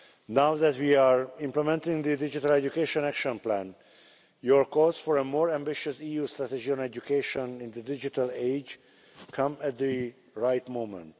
Now that we are implementing the Digital Education Action Plan, your calls for a more ambitious EU strategy on education in the digital age come at the right moment.